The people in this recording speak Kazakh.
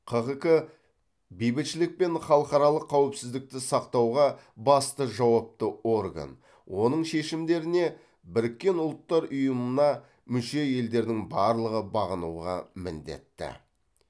қғк бейбітшілік пен халықаралық қауіпсіздікті сақтауға басты жауапты орган оның шешімдеріне біріккен ұлттар ұйымына мүше елдердің барлығы бағынуға міндетті